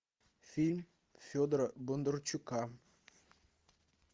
фильм федора бондарчука